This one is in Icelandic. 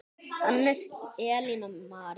Hannes, Elín og María.